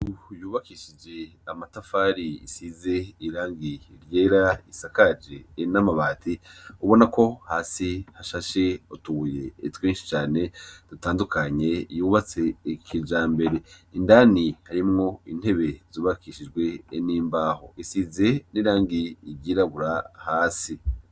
Yubakishije amatafari isize irangi ryera isakaje en' amabati ubona ko hasi hashashe otuye etwinshi cane dutandukanye yubatse ikija mbere indani harimwo intebe zubakishijwe n'imbaho isize n'irangi igirabura hasi.